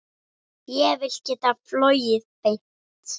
Ég vil geta flogið beint.